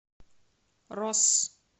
росс